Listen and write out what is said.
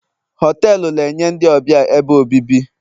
họtelu na-enye ndị ọbịa ebe obibi